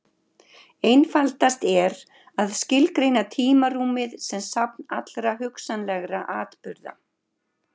Einfaldast er að skilgreina tímarúmið sem safn allra hugsanlegra atburða.